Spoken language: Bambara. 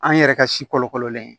An yɛrɛ ka si kolokololen ye